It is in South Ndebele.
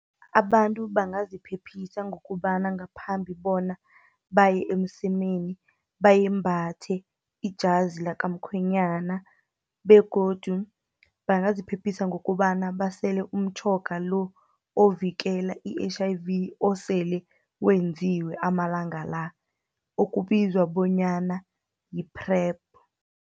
Abantu bangaziphephisa ngokobana ngaphambi bona baye emsemeni, bayembhathe ijazi lakamkhwenyana, begodu bangaziphephisa ngokobana basele umtjhoga lo, ovikela i-H_I_V osele wenziwe amalanga la, okubizwa bonyana yi-Pr_E_P.